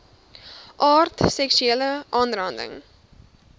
aard seksuele aanranding